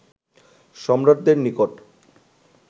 সম্রাটদের নিকট